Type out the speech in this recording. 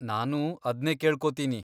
ನಾನೂ ಅದ್ನೇ ಕೇಳ್ಕೊತೀನಿ.